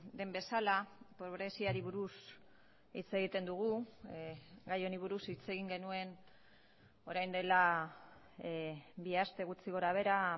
den bezala pobreziari buruz hitz egiten dugu gai honi buruz hitz egin genuen orain dela bi aste gutxi gorabehera